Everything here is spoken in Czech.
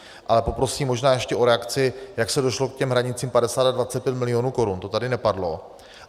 Ale poprosím možná ještě o reakci, jak se došlo k těm hranicím 50 a 25 milionů korun, to tady nepadlo.